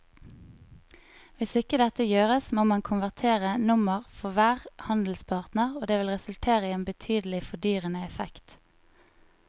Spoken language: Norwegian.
Hvis ikke dette gjøres må man konvertere nummer for hver handelspartner og det vil resultere i en betydelig fordyrende effekt.